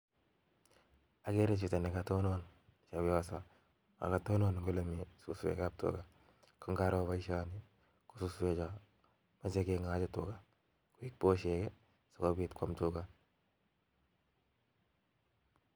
Okere chito nekotonon chebioso nekatonon eng' olemii suswekab tukaa, ng'aro boishoni ko suswecho komoche keng'ochi tukaa kobit boshek sikobit kwam tukaa.